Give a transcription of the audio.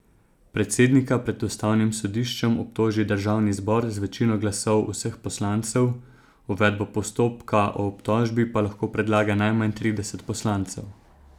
Predsednika pred ustavnim sodiščem obtoži državni zbor z večino glasov vseh poslancev, uvedbo postopka o obtožbi pa lahko predlaga najmanj trideset poslancev.